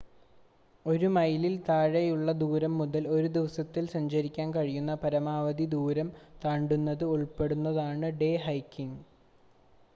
ഒരു മൈലിൽ താഴെയുള്ള ദൂരം മുതൽ ഒരു ദിവസത്തിൽ സഞ്ചരിക്കാൻ കഴിയുന്ന പരമാവധി ദൂരം താണ്ടുന്നത് ഉൾപ്പെടുന്നതാണ് ഡേ ഹൈക്കിങ്